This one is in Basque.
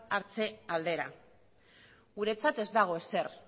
hartze aldera guretzat ez dago ezer